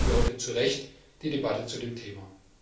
Deswegen haben wir heute zu Recht die Debatte zu dem Thema.